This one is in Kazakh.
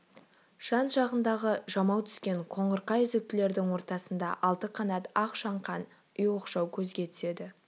жан-жағындағы жамау түскен қоңырқай үзіктілердің ортасында алты қанат ақ шаңқан үй оқшау көзге түседі